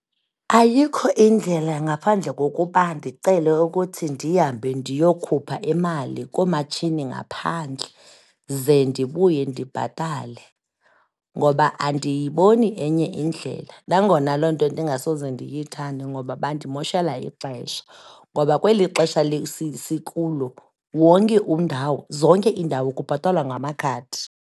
Ayikho indlela ngaphandle kokuba ndicele ukuthi ndihambe ndiyokhupha imali koomatshini ngaphandle, ze ndibuye ndibhatale. Ngoba andiyiboni enye indlela, nangona loo nto ndingasoze ndiyithande ngoba bandimoshela ixesha, ngoba kweli xesha sikulo wonke zonke iindawo kubhatalwa ngamakhadi.